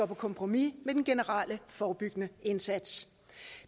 på kompromis med den generelle forebyggende indsats